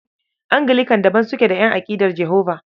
Anglican daban suke da ƴan aƙidar Jehova.